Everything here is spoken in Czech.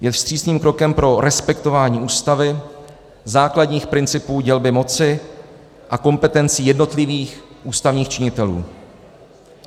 Je vstřícným krokem pro respektování Ústavy, základních principů dělby moci a kompetencí jednotlivých ústavních činitelů.